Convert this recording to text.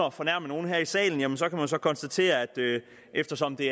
at fornærme nogen her i salen kan man så konstatere eftersom det